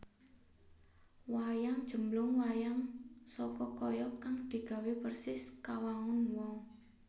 Wayang JemblungWayang saka kayu kang digawe persis kawangun wong